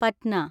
Patna